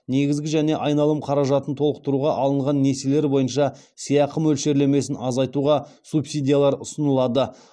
негізгі және айналым қаражатын толықтыруға алынған несиелер бойынша сыйақы мөлшерлемесін азайтуға субсидиялар ұсынылады